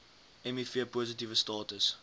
miv positiewe status